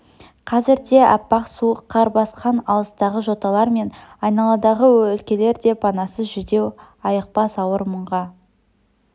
қазірде аппақ суық қар басқан алыстағы жоталар мен айналадағы өлкелер де панасыз жүдеу айықпас ауыр мұңға